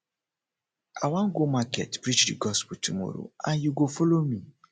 i wan go market preach the gospel tomorrow and you go follow me